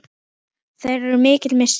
Þeirra er mikill missir.